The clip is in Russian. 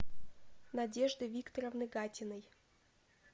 надежды викторовны гатиной